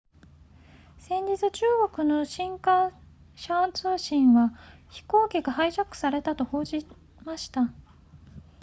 先日中国の新華社通信は飛行機がハイジャックされたと報じました